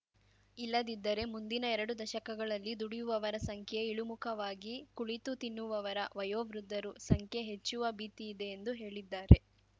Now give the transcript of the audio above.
ಇಲ್ಲದಿದ್ದರೆ ಮುಂದಿನ ಎರಡು ದಶಕಗಳಲ್ಲಿ ದುಡಿಯುವವರ ಸಂಖ್ಯೆ ಇಳಿಮುಖವಾಗಿ ಕುಳಿತು ತಿನ್ನುವವರವಯೋವೃದ್ಧರು ಸಂಖ್ಯೆ ಹೆಚ್ಚುವ ಭೀತಿಯಿದೆ ಎಂದು ಹೇಳಿದ್ದಾರೆ